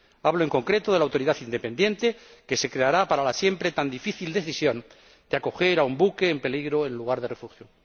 Hablo en concreto de la autoridad independiente que se creará para la siempre tan difícil decisión de acoger a un buque en peligro en un lugar de refugio.